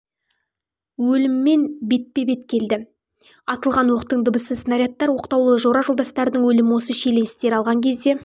тұста өліммен бетпе-бет келді атылған оқтың дыбысы снарядтар оқталуы жора-жолдастарының өлімі осы шиеленістер алған кезде